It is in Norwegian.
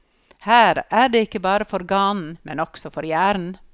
Her er det ikke bare for ganen, men også for hjernen.